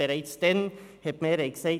Bereits damals hat die Mehrheit gesagt: